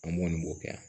An m'o de kɛ yan